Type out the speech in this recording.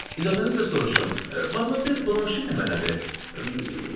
İcazənizlə soruşum, madmazel Blanş indi nə mənadır?